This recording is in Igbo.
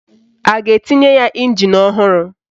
A ga-etinye ya ịnjin ọhụrụ?